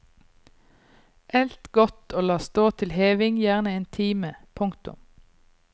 Elt godt og la stå til heving gjerne en time. punktum